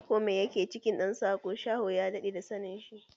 Ko mai ya ke cikin ɗan tsako, Shaho ya daɗe da sanin shi.